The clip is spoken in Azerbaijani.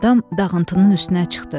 Adam dağıntının üstünə çıxdı.